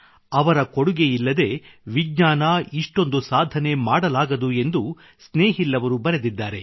ಅವರ ಕೊಡುಗೆಯಿಲ್ಲದೇ ವಿಜ್ಞಾನ ಇಷ್ಟೊಂದು ಸಾಧನೆ ಮಾಡಲಾಗದು ಎಂದು ಸ್ನೇಹಿಲ್ ಅವರು ಬರೆದಿದ್ದಾರೆ